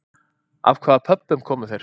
Af hvaða Pöbbum komu þeir?